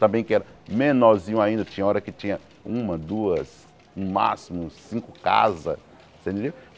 Também que era menorzinho ainda, tinha hora que tinha uma, duas, no máximo cinco casas. você entendeu